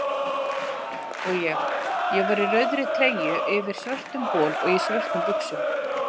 Og ég: ég var í rauðri treyju yfir svörtum bol og í svörtum buxum.